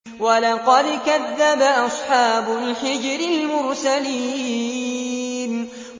وَلَقَدْ كَذَّبَ أَصْحَابُ الْحِجْرِ الْمُرْسَلِينَ